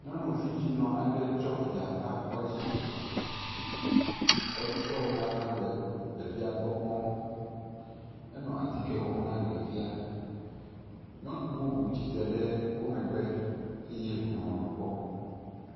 Nyɔnu vidzinɔ aɖe tsɔ via va kɔdzi. Kɔdzidɔwɔla la le ɖevia gbɔ kpɔm. Enɔ atike wɔm na ɖevia. Nyɔnu bubu tsite ɖe wo megbe eye wonɔ nu kpɔm.